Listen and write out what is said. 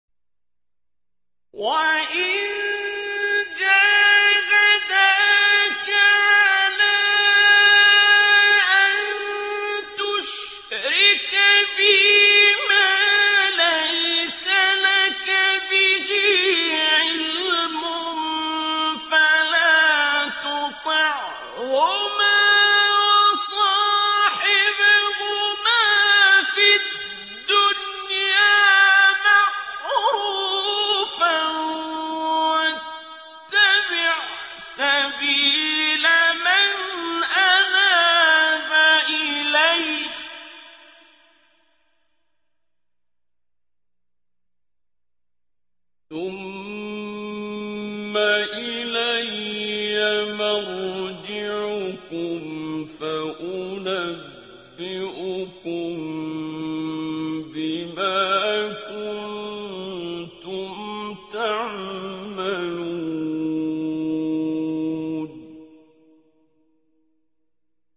وَإِن جَاهَدَاكَ عَلَىٰ أَن تُشْرِكَ بِي مَا لَيْسَ لَكَ بِهِ عِلْمٌ فَلَا تُطِعْهُمَا ۖ وَصَاحِبْهُمَا فِي الدُّنْيَا مَعْرُوفًا ۖ وَاتَّبِعْ سَبِيلَ مَنْ أَنَابَ إِلَيَّ ۚ ثُمَّ إِلَيَّ مَرْجِعُكُمْ فَأُنَبِّئُكُم بِمَا كُنتُمْ تَعْمَلُونَ